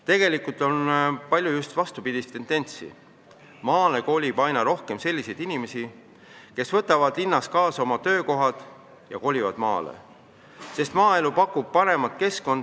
Tegelikult on palju just vastupidist tendentsi: maale kolib aina rohkem selliseid inimesi, kes võtavad linnast kaasa oma töökohad ja kolivad maale, sest maaelu pakub paremat keskkonda.